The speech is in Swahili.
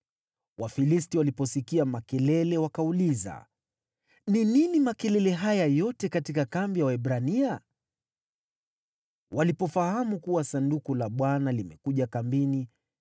Wafilisti waliposikia makelele wakauliza, “Ni nini makelele haya yote katika kambi ya Waebrania?” Walipofahamu kuwa Sanduku la Bwana limekuja kambini,